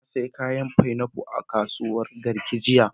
Na sayi fainafu a kasuwar Garki jiya.